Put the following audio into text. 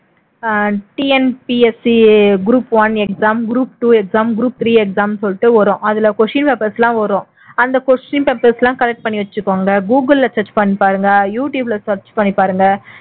ஆஹ் TNPSC group one exam group two exam group three exam ன்னு சொல்லிட்டு வரும் அதுல question papers எல்லாம் வரும் அந்த question papers எல்லாம் collect பண்ணி வச்சுக்கோங்க google ல search பண்ணி பாருங்க யூ டுயூப்ல search பண்ணி பாருங்க